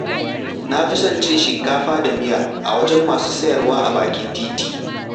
Na fi son cin shinkafa da miya a wajen masu sayarwa a bakin titi.